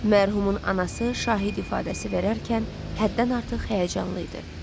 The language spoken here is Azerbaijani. Mərhumun anası şahid ifadəsi verərkən həddən artıq həyəcanlı idi.